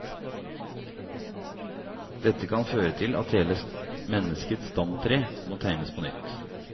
Dette kan føre til at hele menneskets stamtre må tegnes på nytt.